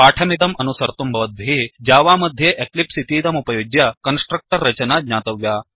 पाठमिदम् अनुसर्तुं भवद्भिः जावा मध्ये एक्लिप्स् इतीदमुपयुज्य कन्स्ट्रक्टर् रचना ज्ञातव्या